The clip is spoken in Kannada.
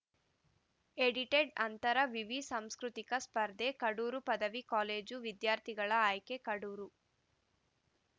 ಎಡಿಟೆಡ್‌ ಅಂತರ ವಿವಿ ಸಾಂಸ್ಕೃತಿಕ ಸ್ಪರ್ಧೆ ಕಡೂರು ಪದವಿ ಕಾಲೇಜು ವಿದ್ಯಾರ್ಥಿಗಳ ಆಯ್ಕೆ ಕಡೂರು